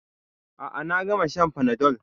A'a, na gama shan fanadol